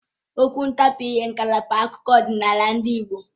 Okwu ntabiire ngalaba akụkọ ọdịnala ndị Igbo